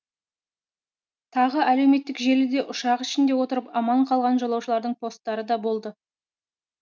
тағы әлеуметтік желіде ұшақ ішінде отырып аман қалған жолаушылардың посттары да болды